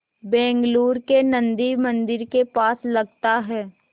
बेंगलूरू के नन्दी मंदिर के पास लगता है